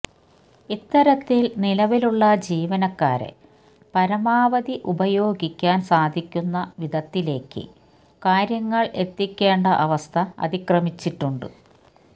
ഇത്തരത്തിൽ നിലവിലുള്ള ജീവനക്കാരെ പരമാവധി ഉപയോഗിക്കാൻ സാധിക്കുന്ന വിധത്തിലേക്ക് കാര്യങ്ങൾ എത്തിക്കേണ്ട അവസ്ഥ അതിക്രമിച്ചിട്ടുണ്ട്